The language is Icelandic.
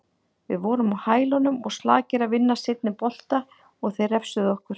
Við vorum á hælunum og slakir að vinna seinni bolta og þeir refsuðu okkur.